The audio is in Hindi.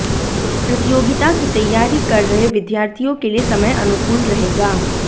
प्रतियोगिता की तैयारी कर रहे विद्यार्थियों के लिए समय अनुकूल रहेगा